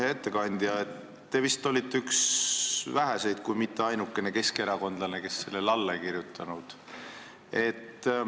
Hea ettekandja, te vist olite üks väheseid kui mitte ainukene keskerakondlane, kes sellele alla ei kirjutanud.